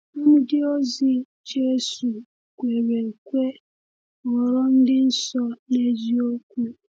Ndịozi Jésù kwere ekwe ghọrọ ndị nsọ n’eziokwu.